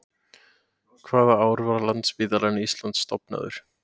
Hvaða ár var Landspítali Íslands stofnaður?